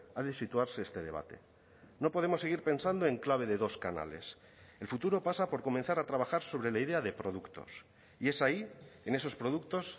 ha de situarse este debate no podemos seguir pensando en clave de dos canales el futuro pasa por comenzar a trabajar sobre la idea de productos y es ahí en esos productos